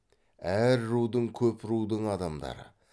әр рудың көп рудың адамдары